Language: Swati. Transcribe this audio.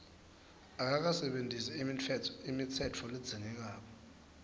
akakasebentisi imitsetfo ledzingekako